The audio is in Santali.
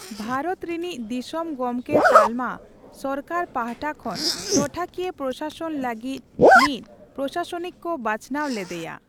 ᱵᱷᱟᱨᱚᱛ ᱨᱤᱱᱤᱡ ᱫᱤᱥᱚᱢ ᱜᱚᱢᱠᱮ ᱛᱟᱞᱢᱟ ᱥᱚᱨᱠᱟᱨ ᱯᱟᱦᱴᱟ ᱠᱷᱚᱱ ᱴᱚᱴᱷᱟᱠᱤᱭᱟᱹ ᱯᱨᱚᱥᱟᱥᱚᱱ ᱞᱟᱹᱜᱤᱫ ᱢᱤᱫ ᱯᱚᱥᱟᱥᱚᱱᱤᱠ ᱠᱚ ᱵᱟᱪᱷᱱᱟᱣ ᱞᱮᱫᱮᱭᱟ ᱾